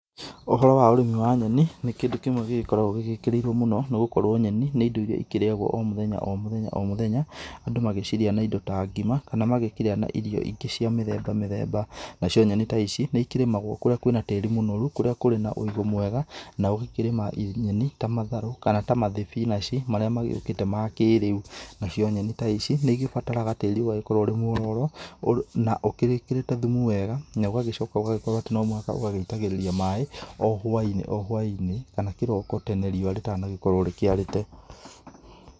Ũhoro wa ũrĩmi wa nyeni, nĩ kĩndũ kĩmwe gĩgĩkoragwo gĩgĩkĩrĩirwo mũno. Nĩgũkorwo nyeni nĩ indo iria ikĩrĩagwo o mũthenya o mũthenya o mũthenya, Andũ magĩcirĩa na indo ta ngima, kana magĩkĩrĩa na irio ingĩ cia mĩthemba mĩthemba. Nacio nyeni ta ici, nĩikĩrĩmagwo kũrĩa kwĩ na tĩri mũnoru, kũrĩa kũrĩ na ũigũ mwega, na ũgĩkĩrĩma nyeni ta matharũ, kana ta mathibinaci, marĩa magĩũkĩte ma kĩrĩu. Nacio nyeni ta ici, nĩigĩbataraga tĩri ũgagĩkorwo ũri mwororo, na ũkĩrĩkĩrĩte thumu wega. Na ũgagĩcoka ũgagĩkorwo atĩ nomũhaka ũgagĩitagĩrĩria maĩ o hwa-inĩ o hwa-inĩ, kana kĩroko tene riũa rĩtanagĩkorwo rĩkĩarĩte.